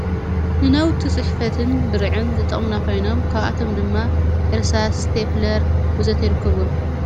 ንናውቲ ጽሕፈትን ብርዕን ዝጠምናኾይኖም ካብኣቶም ድማ ኢርሳስ ስተብለር ወዘተ ኣይርክብዎም